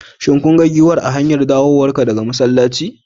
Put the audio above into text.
Shin kun ga giwar a hany dawowarka daga masallaci?